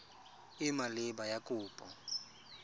e e maleba ya kopo